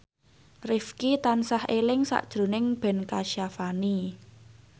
Rifqi tansah eling sakjroning Ben Kasyafani